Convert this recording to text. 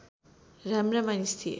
राम्रा मानिस थिए